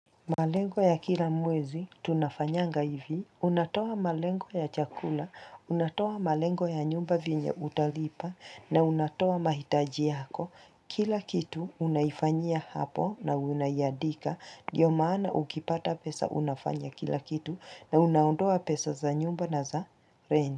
Malengo ya kila mwezi, tunafanyanga hivi, unatoa malengo ya chakula, unatoa malengo ya nyumba vinya utalipa, na unatoa mahitaji yako, kila kitu unaifanyia hapo na unayandika, ndiyo maana ukipata pesa unafanya kila kitu, na unaondoa pesa za nyumba na za rengu.